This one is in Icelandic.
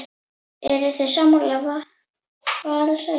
Eruð þið sammála vali hans?